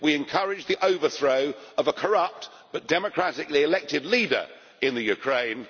We encouraged the overthrow of a corrupt but democratically elected leader in Ukraine.